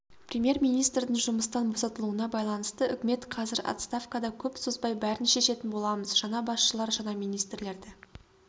премьер-министрдің жұмыстан босатылуына байланысты үкімет қазір отставкада көп созбай бәрін шешетін боламыз жаңа басшылар жаңа министрлерді